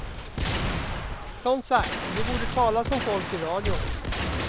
Som sagt, de borde tala som folk i radion.